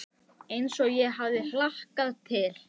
Við heilsuðumst og í þetta sinn var ég dálítið feimin.